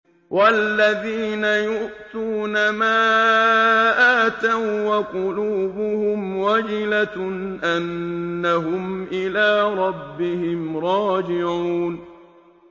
وَالَّذِينَ يُؤْتُونَ مَا آتَوا وَّقُلُوبُهُمْ وَجِلَةٌ أَنَّهُمْ إِلَىٰ رَبِّهِمْ رَاجِعُونَ